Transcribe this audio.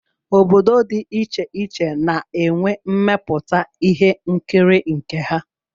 Obodo dị iche iche na-enwe mmepụta ihe nkiri nke ha